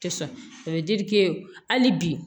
Tɛ sɔn o ye hali bi